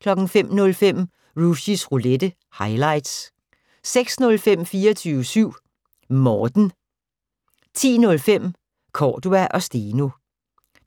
05:05: Rushys Roulette - highlights 06:05: 24syv Morten 10:05: Cordua & Steno